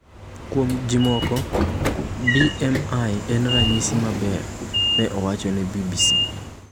Kuom ji moko, BMI en ranyisi maber, ne owacho ne BBC.